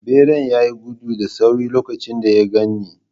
Beran ya yi gudu da sauri lokacin da ya gan ni.